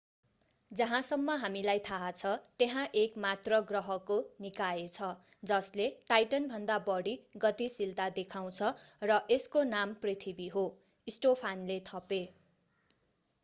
जहाँसम्म हामीलाई थाहा छ त्यहाँ एक मात्र ग्रहको निकाय छ जसले टाइटनभन्दा बढी गतिशीलता देखाउँछ र यसको नाम पृथ्वी हो स्टोफानले थपे